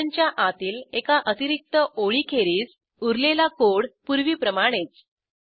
फंक्शनच्या आतील एका अतिरिक्त ओळीखेरीज उरलेला कोड पूर्वीप्रमाणेच